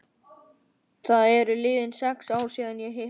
Það eru liðin sex ár síðan ég hætti.